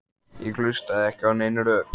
Ég hlustaði ekki á nein rök.